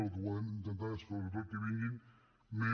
el que volem intentar sobretot és que en vinguin més